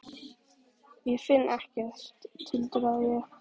Ég finn ekkert, tuldraði ég.